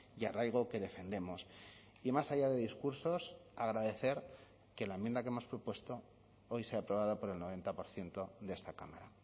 y arraigo que defendemos y más allá de discursos agradecer que la enmienda que hemos propuesto hoy sea aprobada por el noventa por ciento de esta cámara